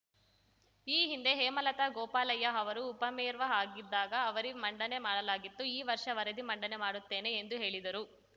ಈ ಹಿಂದೆ ಹೇಮಲತಾ ಗೋಪಾಲಯ್ಯ ಅವರು ಉಪಮೇರ್ವ ಆಗಿದ್ದಾಗ ವರದಿ ಮಂಡನೆ ಮಾಡಲಾಗಿತ್ತು ಈ ವರ್ಷ ವರದಿ ಮಂಡನೆ ಮಾಡುತ್ತೇನೆ ಎಂದು ಹೇಳಿದರು